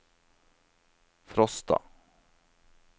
Frosta